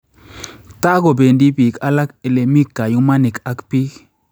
Ta kobeendi biik akak elemi kayumaniik ap biik